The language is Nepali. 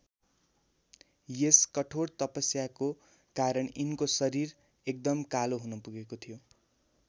यस कठोर तपस्याको कारण यिनको शरीर एकदम कालो हुन पुगेको थियो।